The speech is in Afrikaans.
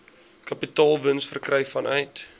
kapitaalwins verkry vanuit